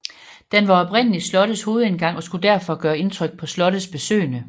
Den var oprindelig slottets hovedindgang og skulle derfor gøre indtryk på slottets besøgende